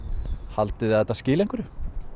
haldiði að þetta skili einhverju